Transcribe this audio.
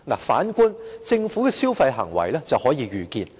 反觀政府的消費行為卻是可預見的。